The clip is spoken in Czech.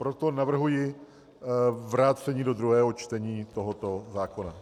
Proto navrhuji vrácení do druhého čtení tohoto zákona.